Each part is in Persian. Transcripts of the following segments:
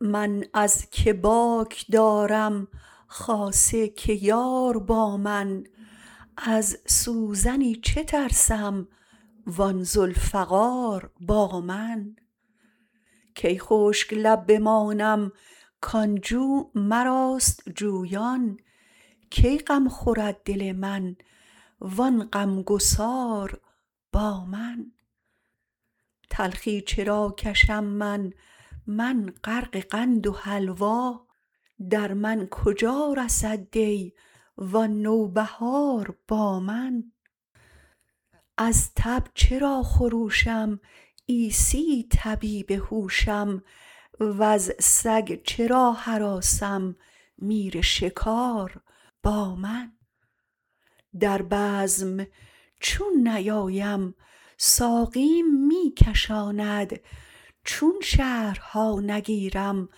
من از کی باک دارم خاصه که یار با من از سوزنی چه ترسم و آن ذوالفقار با من کی خشک لب بمانم کان جو مراست جویان کی غم خورد دل من و آن غمگسار با من تلخی چرا کشم من من غرق قند و حلوا در من کجا رسد دی و آن نوبهار با من از تب چرا خروشم عیسی طبیب هوشم وز سگ چرا هراسم میر شکار با من در بزم چون نیایم ساقیم می کشاند چون شهرها نگیرم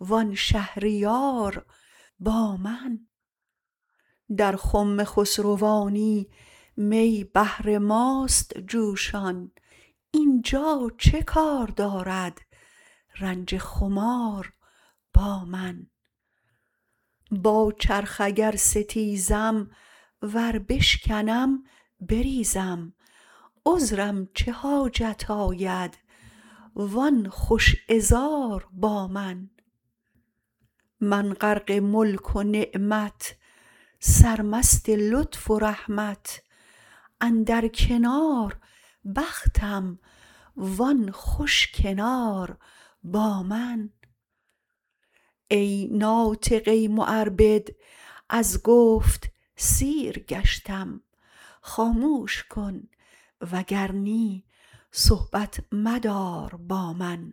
و آن شهریار با من در خم خسروانی می بهر ماست جوشان این جا چه کار دارد رنج خمار با من با چرخ اگر ستیزم ور بشکنم بریزم عذرم چه حاجت آید و آن خوش عذار با من من غرق ملک و نعمت سرمست لطف و رحمت اندر کنار بختم و آن خوش کنار با من ای ناطقه معربد از گفت سیر گشتم خاموش کن وگر نی صحبت مدار با من